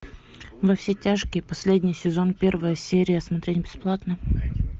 во все тяжкие последний сезон первая серия смотреть бесплатно